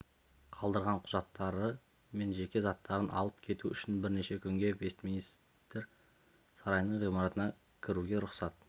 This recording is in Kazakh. қалдырған құжаттары мен жеке заттарын алып кету үшін бірнеше күнге вестминстер сарайының ғимаратына кіруге рұқсат